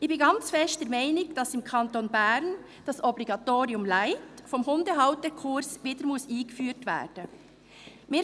Ich bin sehr stark der Meinung, dass das «Obligatorium light» des Hundehalterkurses im Kanton Bern wieder eingeführt werden muss.